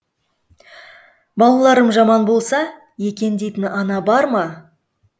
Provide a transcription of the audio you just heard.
балаларым жаман болса екен дейтін ана бар ма